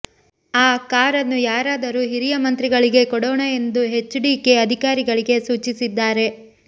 ಆ ಕಾರನ್ನು ಯಾರಾದರೂ ಹಿರಿಯ ಮಂತ್ರಿಗಳಿಗೆ ಕೊಡೋಣ ಎಂದು ಹೆಚ್ಡಿಕೆ ಅಧಿಕಾರಿಗಳಿಗೆ ಸೂಚಿಸಿದ್ದಾರೆ